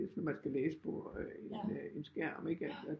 Hvis nu man skal læse på en skærm ikke at